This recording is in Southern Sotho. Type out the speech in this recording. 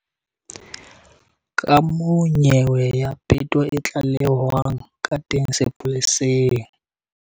Kamoo nyewe ya peto e tlalehwang ka teng sepoleseng.